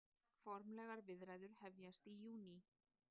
Formlegar viðræður hefjast í júní